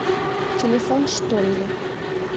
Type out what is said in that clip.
телефон штолле